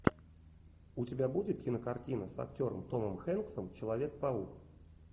у тебя будет кинокартина с актером томом хэнксом человек паук